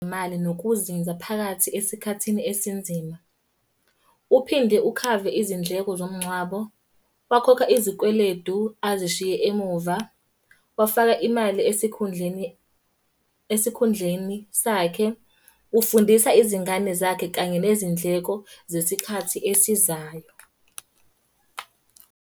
Mali nokuzinza phakathi esikhathini esinzima. Uphinde ukhave izindleko zomngcwabo. Bakhokha izikweledu azishiye emuva, Bafaka imali esikhundleni, esikhundleni sakhe. Ufundisa izingane zakhe kanye nezindleko zesikhathi esizayo.